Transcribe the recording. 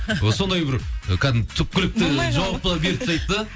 сондай бір кәдімгі түпкілікті болмай қала ма жауапты беріп тастайды да